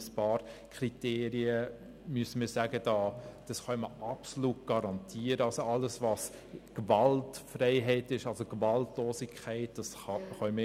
Bei einigen Kriterien müsste man sagen, diese könnten absolut garantiert werden, nämlich alles, was Gewaltfreiheit, Gewaltlosigkeit betrifft.